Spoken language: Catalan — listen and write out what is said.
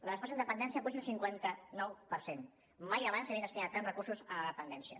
la despesa en dependència puja un cinquanta nou per cent mai abans s’havien destinat tants recursos a la dependència